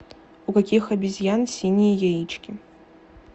у каких обезьян синие яички